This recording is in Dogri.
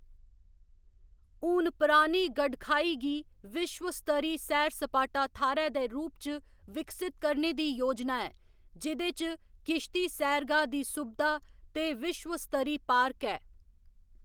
हून पुरानी गडखाई गी विश्व स्तरी सैर सपाटा थाह्‌‌‌रै दे रूप च विकसत करने दी योजना ऐ जि'दे च किश्ती सैरगाह्‌‌ दी सुबधा ते विश्व स्तरी पार्क ऐ।